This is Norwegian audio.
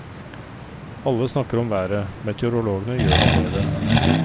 Alle snakker om været, meteorologene gjør noe med det.